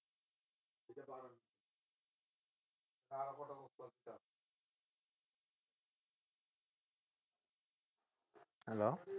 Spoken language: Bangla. Hello